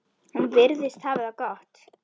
Hann virðist hafa það gott.